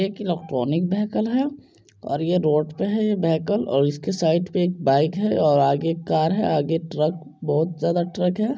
एक electronic bicycle है और ये रोड पे है ये बाईकल इसके साइड पे एक बाइक है आगे कार है आगे ट्रक बहुत ज़्यादा ट्रक है।